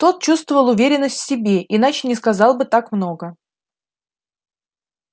тот чувствовал уверенность в себе иначе не сказал бы так много